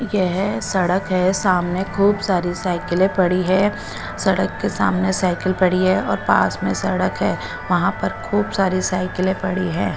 ये है सडक है सामने खूब सारी साइकिले पड़ी है सड़क के सामने साइकिल पड़ी है और पास में सड़क है वहा पर खूब सारी साईकिले पड़ी है।